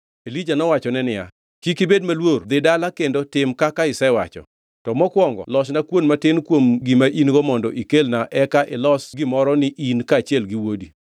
Elija nowachone niya, “Kik ibed maluor dhi dala kendo tim kaka isewacho. To mokwongo losna kuon matin kuom gima in-go mondo ikelna eka ilos gimoro ni in kaachiel gi wuodi